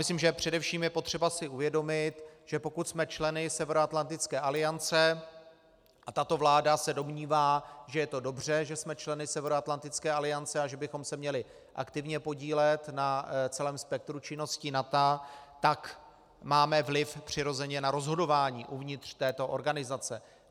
Myslím, že především je potřeba si uvědomit, že pokud jsme členy Severoatlantické aliance - a tato vláda se domnívá, že je to dobře, že jsme členy Severoatlantické aliance, a že bychom se měli aktivně podílet na celém spektru činností NATO - tak máme vliv přirozeně na rozhodování uvnitř této organizace.